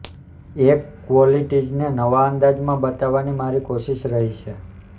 એ ક્વોલિટીઝને નવા અંદાજમાં બતાવવાની મારી કોશિશ રહી છે